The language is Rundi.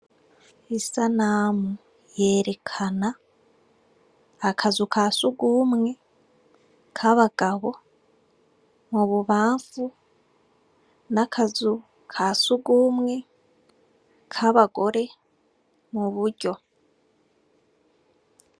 Isanamu yerekana akazu ka sugumwe k'abagabo mu bubamfu n'akazu ka sugumwe k'abagore mu buryo.